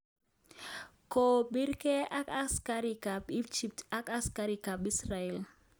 Kopiren ak askarik ap Egypt ak askarik ap Israel